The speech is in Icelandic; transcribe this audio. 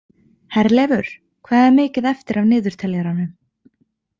Herleifur, hvað er mikið eftir af niðurteljaranum?